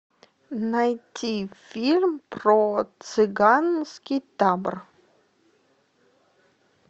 найти фильм про цыганский табор